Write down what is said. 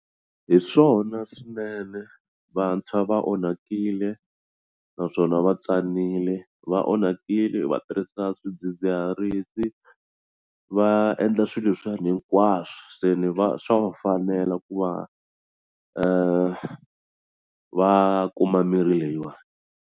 Hi swona swinene vantshwa va onhakile naswona va tsanile va onhakile va tirhisa swidzidziharisi va endla swi leswiyani hinkwaswo se ni va swa va fanela ku va va kuma mirhi leyiwani.